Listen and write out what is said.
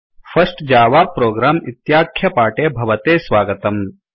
first Java program इत्याख्यपाठे भवते स्वागतम्